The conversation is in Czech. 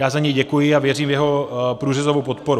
Já za něj děkuji a věřím v jeho průřezovou podporu.